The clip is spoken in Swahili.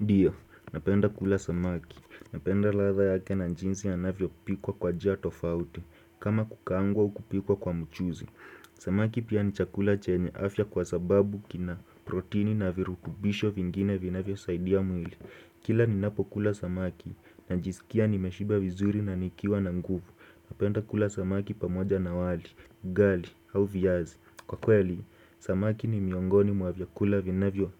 Dio, napenda kula samaki. Napenda ladha yake na njinsi yanavyopikwa kwa jia tofauti. Kama kukaangwa au kupikwa kwa mchuzi. Samaki pia ni chakula chenye afya kwa sababu kina proteini na virutubisho vingine vinavyosaidia mwili. Kila ninapokula samaki najisikia nimeshiba vizuri na nikiwa na nguvu. Napenda kula samaki pamoja na wali, ugali au viazi. Kwa kweli, samaki ni miongoni mwa vyakula vinevyo